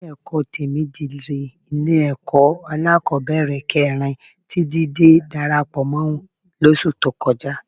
Ilé-ẹ̀kọ́ Tèmídire ni Ilé-ẹ̀kọ́ alákọ̀ọ́bẹ̀rẹ̀ kẹrin tí Jídé darapọ̀ mọ́ lóṣù tó kọjá